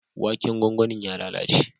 Waken gwangwanin ya lalace.